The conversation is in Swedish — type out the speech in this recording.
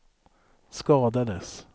skadades